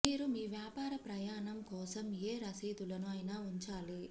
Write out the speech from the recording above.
మీరు ఈ వ్యాపార ప్రయాణం కోసం ఏ రసీదులను అయినా ఉంచాలి